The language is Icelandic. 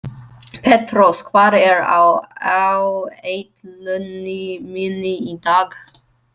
Petrós, hvað er á áætluninni minni í dag?